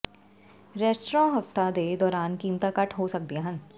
restaurant ਹਫ਼ਤਾ ਦੇ ਦੌਰਾਨ ਕੀਮਤਾਂ ਘੱਟ ਹੋ ਸਕਦੀਆਂ ਹਨ